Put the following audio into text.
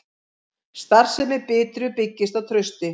Starfsemi Bitru byggist á trausti